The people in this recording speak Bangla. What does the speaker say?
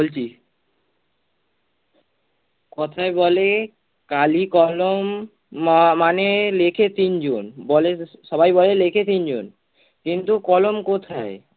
বলছি কথায় বলে কালি-কলম ম~ মানে লিখে তিন জন বলে সবাই বলে লিখে তিন জন। কিন্তু কলম কোথায়?